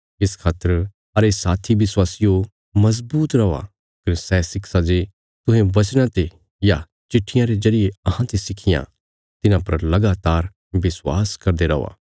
इस खातर अरे साथी विश्वासियो मजबूत रौआ कने सै शिक्षां जे तुहें वचना ते या चिट्ठियां रे जरिये अहांते सिखियां तिन्हां पर लगातार विश्वास करदे रौआ